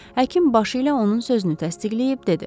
Həkim başı ilə onun sözünü təsdiqləyib dedi.